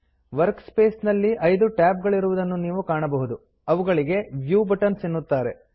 workspace ನಲ್ಲಿ 5 tab ಗಳಿರುವುದನ್ನು ನೀವು ಕಾಣಬಹುದು ಅವುಗಳಿಗೆ ವ್ಯೂ ಬಟನ್ಸ್ ಎನ್ನುತ್ತಾರೆ